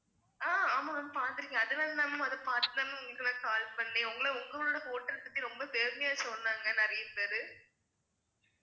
அஹ் ஆமா பாத்துருக்கேன் அதனால் தான் ma'am அதை பாத்து தான் ma'am உங்களுக்கு நான் call பண்ணேன் உங்கள உங்களோட hotel பத்தி ரொம்ப பெருமையா சொன்னாங்க நிறைய பேரு